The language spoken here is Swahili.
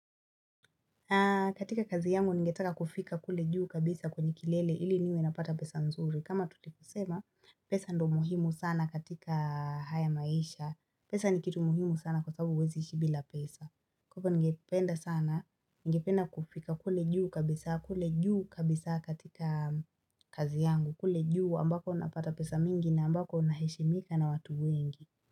Katika kazi yangu ningetaka kufika kule juu kabisa kwenye kilele ili niwe napata pesa nzuri. Kama tulisema pesa ndo muhimu sana katika haya maisha. Pesa ni kitu muhimu sana kwa sababu huezi ishi bila pesa. Kwa Hivo ningependa sana. niNgependa kufika kule juu kabisa kule juu kabisa katika kazi yangu. Kule juu ambako unapata pesa mingi na ambako unaheshimika na watu wengi.